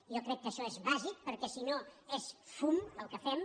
jo crec que això és bàsic perquè si no és fum el que fem